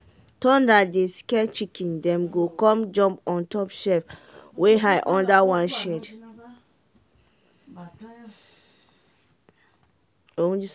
thunder dey scare chicken dem go come jump on top shelf wey high under one shade.[?.]